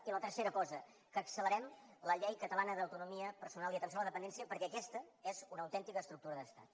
i la tercera cosa que accelerem la llei catalana d’autonomia personal i d’atenció a la dependència perquè aquesta és una autèntica estructura d’estat